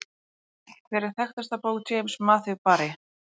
Hver er þekktasta bók James Matthew Barrie?